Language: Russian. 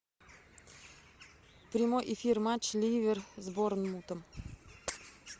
прямой эфир матч ливер с борнмутом